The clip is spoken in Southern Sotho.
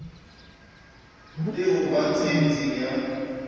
le ho ba tsietseng ya